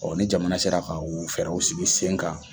ni jamana sera ka u fɛɛrɛw u sigi sen kan.